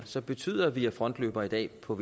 som betyder at vi er frontløbere i dag på